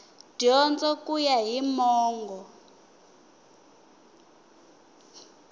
dyondzo ku ya hi mongo